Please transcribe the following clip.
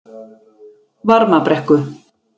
Varmabrekku